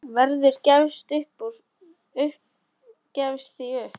Gerður gefst því upp.